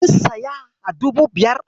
Kin siya a dubu biyar?